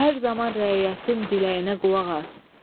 Hər zaman rəiyyətin diləyinə qulaq as.